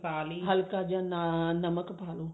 ਹਲਕਾ ਜਾ ਨਮਕ ਪਾ ਲਓ